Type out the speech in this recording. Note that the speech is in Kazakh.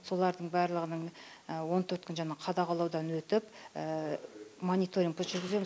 солардың барлығының он төрт күн жаңағы қадағалаудан өтіп мониторинг біз жүргіземіз